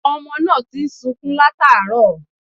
Ọmọ náà ti ń sukún làtàárọ̀